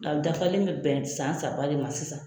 Nka a dafalen bɛ bɛn san saba de ma sisan.